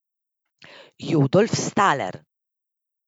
Jodolf Staler.